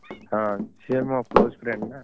ହଁ, ସିଏ ମୋ close friend ନା!